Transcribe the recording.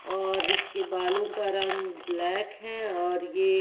और इसके बालों का रंग ब्लैक है और ये--